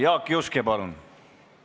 Jaak Juske, palun!